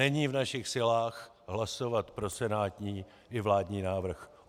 Není v našich silách hlasovat pro senátní i vládní návrh.